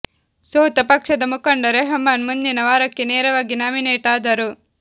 ಸೋತ ಪಕ್ಷದ ಮುಖಂಡ ರೆಹಮಾನ್ ಮುಂದಿನ ವಾರಕ್ಕೆ ನೇರವಾಗಿ ನಾಮಿನೆಟ್ ಆದರು